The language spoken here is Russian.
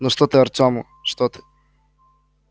ну что ты артёму что ты